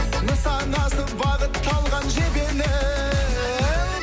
нысанасы бағытталған жебенің